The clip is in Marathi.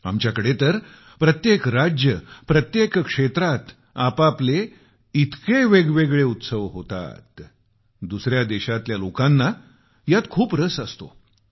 आमच्याकडे तर प्रत्येक राज्य प्रत्येक क्षेत्रात आपापले इतके वेगवेगळे उत्सव होतात दुसऱ्या देशातल्या लोकांना यात खूप रस असतो